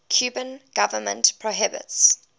cuban government prohibits